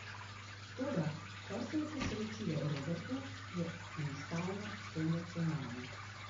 Toda kar se je posrečilo Robertu, je enostavno senzacionalno.